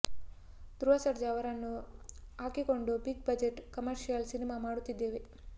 ಧ್ರುವ ಸರ್ಜಾ ಅವರನ್ನು ಹಾಕಿಕೊಂಡು big budget commercial cinema ಮಾಡುತ್ತಿದ್ದೇವೆ